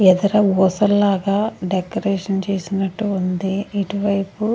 ఎదోర పూసల లాగా డెకరేషన్ చేసినట్టు ఉంది ఇటు వైపు.